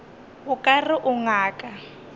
o ka re o ngaka